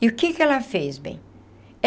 E o que que ela fez, bem?